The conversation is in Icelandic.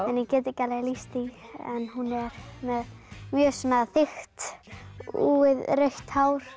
en ég get ekki alveg lýst því hún er með mjög þykkt úfið rautt hár